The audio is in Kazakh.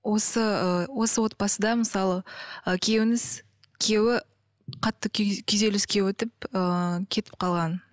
осы ы осы отбасыда мысалы ы күйеуіңіз күйеуі қатты күйзеліске өтіп ыыы кетіп қалған